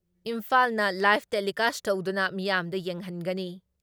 ꯏꯝꯐꯥꯜꯅ live telecast ꯇꯧꯗꯨꯅ ꯃꯤꯌꯥꯝꯗ ꯌꯦꯡꯍꯟꯒꯅꯤ ꯫